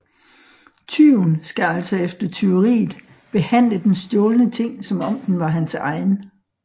Tyven skal altså efter tyveriet behandle den stjålne ting som om den var hans egen